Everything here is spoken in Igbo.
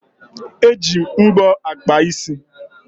E ji mbọ akpa isi